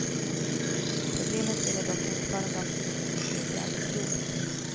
Problemet gäller dock inte bara dem som befinner sig ute i arbetslivet.